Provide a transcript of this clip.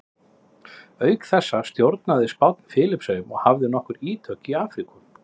Auk þessa stjórnaði Spánn Filippseyjum og hafði nokkur ítök í Afríku.